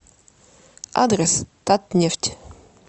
адрес татнефть